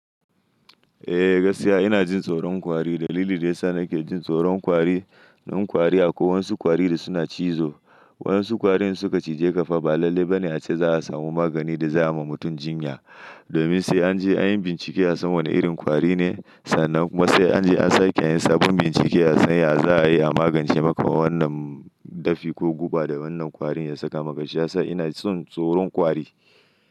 Eh, gaskiya ina jin tsoron kwari. Dalili da ya sa nake jin tsoron kwari, dan kwari akwai wasu kwari da suna cizo. Wasu kwari in suka cije ka fa ba lalle ba ne a ce za a samu magani da za a ma mutum jinya. Domin sai an je an yi bincike a san wane irin kwari ne, sannan kuma sai an je an sake yin sabon bincike a san ya za a yi a magance maka wannan dafi ko guba da wannan kwari ya saka maka. Shiyasa ina jin tsoron kwari.